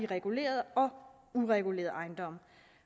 regulerede og uregulerede ejendomme